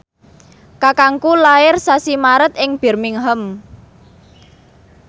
kakangku lair sasi Maret ing Birmingham